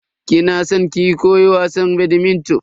Kina san ki koyi wasan "badminton"?